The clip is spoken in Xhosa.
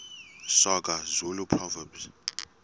soga zulu proverbs